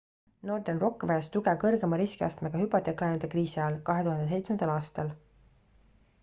northern rock vajas tuge kõrgema riskiastmega hüpoteeklaenude kriisi ajal 2007 aastal